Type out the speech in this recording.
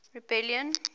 rebellion